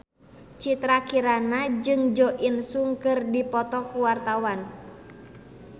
Citra Kirana jeung Jo In Sung keur dipoto ku wartawan